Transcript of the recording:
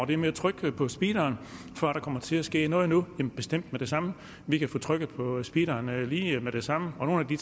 det med at trykke på speederen for at der kommer til at ske noget nu vi bestemt med det samme vi kan få trykket på speederen lige med det samme og det